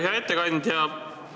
Hea ettekandja!